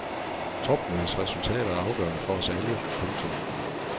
Topmødets resultater er afgørende for os alle. punktum